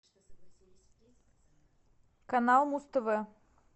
канал муз тв